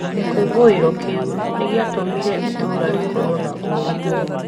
Gĩkũngũĩro kĩu nĩ gĩatũmire itũũra rĩkorũo na ũrũmwe.